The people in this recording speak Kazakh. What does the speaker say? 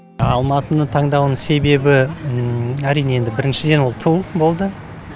алматыны таңдауының себебі әрине енді біріншіден ол тыл болды